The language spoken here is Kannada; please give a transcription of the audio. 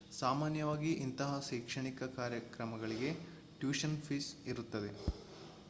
ಸಾಮಾನ್ಯವಾಗಿ ಇಂತಹ ಶೈಕ್ಷಣಿಕ ಕಾರ್ಯಕ್ರಮಗಳಿಗೆ ಟ್ಯೂಷನ್ ಫೀ ಇರುತ್ತದೆ